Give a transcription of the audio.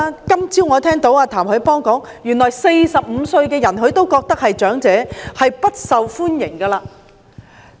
今天早上，我聽到譚凱邦說話，原來他認為45歲的人是長者，不受歡迎。